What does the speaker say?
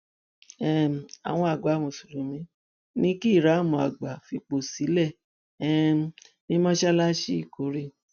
um àwọn àgbà mùsùlùmí ní kí ìíráàmù àgbà fipò sílẹ um ní mọṣáláṣí ìkórè